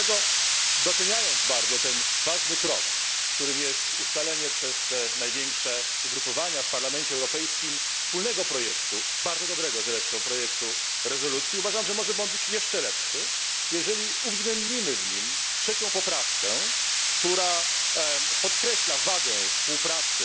Dlatego doceniając bardzo ten ważny krok, którym jest ustalenie przez największe ugrupowania w Parlamencie Europejskim wspólnego, bardzo zresztą dobrego projektu rezolucji, uważam, że może on być jeszcze lepszy, jeżeli uwzględnimy w nim trzecią poprawkę, która podkreśla wagę unijno rosyjskiej współpracy